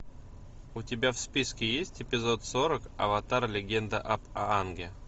у тебя в списке есть эпизод сорок аватар легенда об аанге